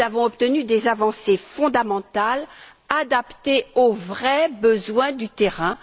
Nous avons obtenu des avancées fondamentales, adaptées aux vrais besoins du terrain.